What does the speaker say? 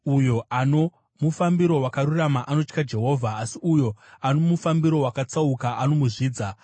Uyo ano mufambiro wakarurama anotya Jehovha, asi uyo ano mufambiro wakatsauka anomuzvidza.